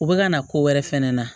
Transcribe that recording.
U bɛ ka na ko wɛrɛ fɛnɛ na